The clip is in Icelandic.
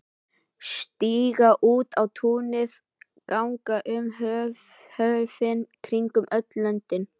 Stíga út á túnið, ganga um höfin, kringum öll löndin.